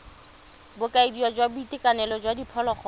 bokaedi jwa boitekanelo jwa diphologolo